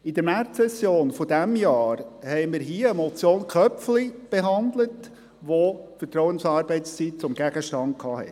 In der Märzsession dieses Jahres behandelten wir die Motion Köpfli , welche die Vertrauensarbeitszeit zum Gegenstand hatte.